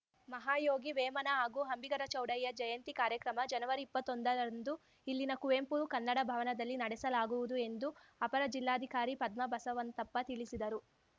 ಮಹಾಯೋಗಿ ವೇಮನ ಹಾಗೂ ಅಂಬಿಗರ ಚೌಡಯ್ಯ ಜಯಂತಿ ಕಾರ್ಯಕ್ರಮ ಜನವರಿಇಪ್ಪತ್ತೊಂದರಂದು ಇಲ್ಲಿನ ಕುವೆಂಪು ಕನ್ನಡ ಭವನದಲ್ಲಿ ನಡೆಸಲಾಗುವುದು ಎಂದು ಅಪರ ಜಿಲ್ಲಾಧಿಕಾರಿ ಪದ್ಮ ಬಸವಂತಪ್ಪ ತಿಳಿಸಿದರು